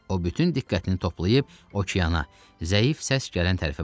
O bütün diqqətini toplayıb okeana, zəif səs gələn tərəfə baxdı.